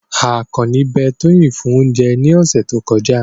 Akanni be Toyin fun ounje ni ose to koja